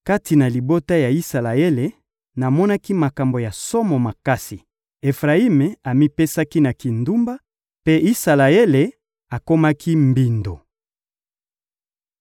Kati na libota ya Isalaele, namonaki makambo ya somo makasi: Efrayimi amipesaki na kindumba, mpe Isalaele akomaki mbindo.